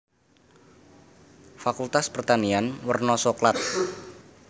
Fakultas Pertanian werna soklat